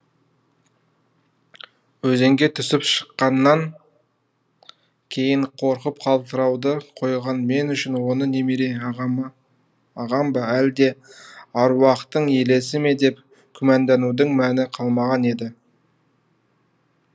өзенге түсіп шыққаннан кейін қорқып қалтырауды қойған мен үшін оны немере ағам ба әлде аруақтың елесі ме деп күмәнданудың мәні қалмаған еді